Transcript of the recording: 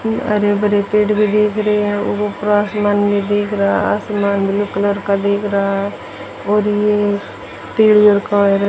हरे भरे पेड़ भी दिख रहे है ऊपर आसमान भी दिख रहा है आसमान ब्लू कलर का दिख रहा और ये पेड़ --